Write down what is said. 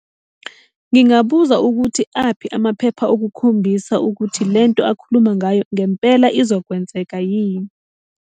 Ngingabuza ukuthi aphi amaphepha okukhombisa ukuthi le nto akhuluma ngayo ngempela izokwenzeka yini.